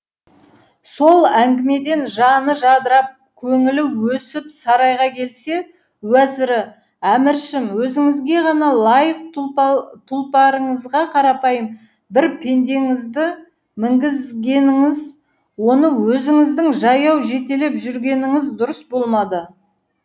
сол әңгімеден жаны жадырап көңілі өсіп сарайға келсе уәзірі әміршім өзіңізге ғана лайық тұлпарыңызға қарапайым бір пендеңізді мінгізгеніңіз оны өзіңіздің жаяу жетелеп жүргеніңіз дұрыс болмады